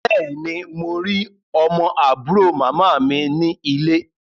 Bẹ́ẹ̀ ni, mo rí ọmọ àbúrò màmá mi ní ilé.